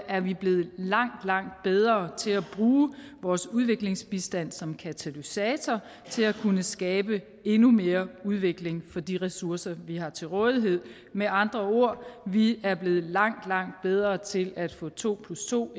er vi blevet langt langt bedre til at bruge vores udviklingsbistand som katalysator til at kunne skabe endnu mere udvikling for de ressourcer vi har til rådighed med andre ord vi er blevet langt langt bedre til at få to plus to